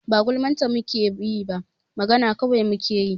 Ba gulman ta mu ke yi ba, magana kawai mu kai yi.